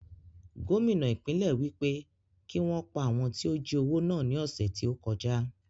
Gómìnà ìpínlẹ̀ wí pé kí wọn pa àwọn tí ó jí owó náà ní ọ̀sẹ̀ tí ó kọjá